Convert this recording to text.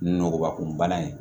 Nɔgɔba kun bana ye